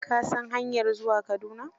Ka san hanyar zuwa Kaduna?